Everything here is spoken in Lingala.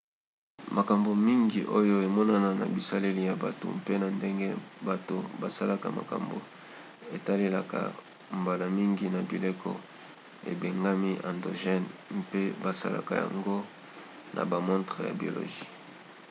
makambo mingi oyo emonana na bizaleli ya bato mpe na ndenge bato basalaka makambo etalelaka mbala mingi na bileko ebengami endogènes mpe basalaka yango na bamontre ya biologie